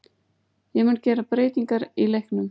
Ég mun gera breytingar í leiknum.